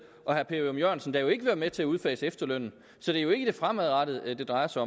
og herre per ørum jørgensen der jo ikke vil være med til at udfase efterlønnen så det er jo ikke det fremadrettede det drejer sig